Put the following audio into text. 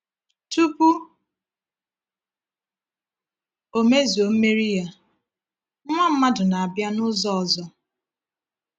Tupu Ọ mezue mmeri Ya, Nwa mmadụ na-abịa n’ụzọ ọzọ.